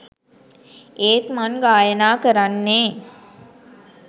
ඒත් මං ගායනා කරන්නෙ